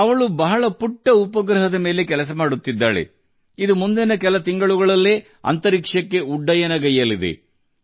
ಅವಳು ಅತ್ಯಂತ ಚಿಕ್ಕ ಉಪಗ್ರಹದ ನಿಟ್ಟಿನಲ್ಲಿ ಕೆಲಸ ಮಾಡುತ್ತಿದ್ದಾಳೆ ಅದು ಮುಂದಿನ ಕೆಲವು ತಿಂಗಳುಗಳಲ್ಲಿ ಬಾಹ್ಯಾಕಾಶಕ್ಕೆ ಉಡಾವಣೆಯಾಗಲಿದೆ